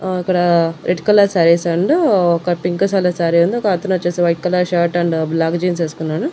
ఆ ఇక్కడ red colour saris and ఒక పింక్ కలర్ శారీ ఉంది. ఒక అతను వచ్చేసి white colour shirt and black jeans ఏస్కున్నాడు.